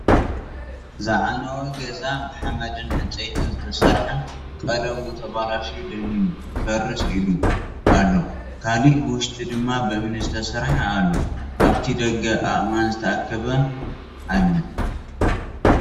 ዝዓነወ ገዛ ብሓመድን ዕንፀይቲን ዝተሰርሐ ቀለሙ ተበላሽዩ ደኒኑ ክፈርስ ኢሉ ኣሎ ካሊእ ብውሽጢ ድማ ብእምኒ ዝተሰርሐ ኣሎ ኣብቲ ደገ ኣእማን ዝተኣከበ ኣለ።